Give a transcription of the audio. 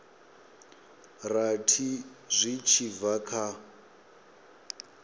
rathi zwi tshi bva kha